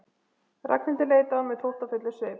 Ragnhildur leit á hann með þóttafullum svip.